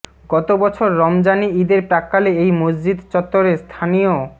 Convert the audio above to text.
গত বছর রমজানি ইদের প্রাক্কালে এই মসজিদ চত্বরে স্থানীয়